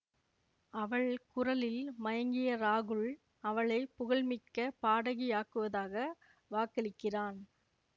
அவள் குரலில் மயங்கிய ராகுல் அவளை புகழ்மிக்க பாடகியாக்குவதாக வாக்களிக்கிறான்